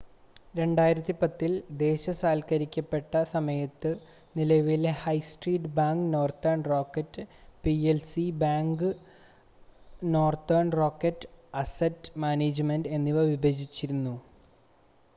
2010-ൽ ദേശസാൽക്കരിക്കപ്പെട്ട സമയത്ത് നിലവിലെ high street bank Northern Rock പി‌എൽ‌സിയെ ‘bad bank’ Northern Rock asset management എന്നിങ്ങനെ വിഭജിച്ചിരുന്നു